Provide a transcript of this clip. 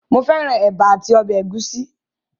Mo fẹ́ran ẹ̀bà àti ọbẹ̀ ẹ̀gúsí